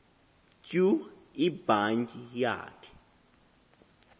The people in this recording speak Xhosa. tyu ibhatyi yakhe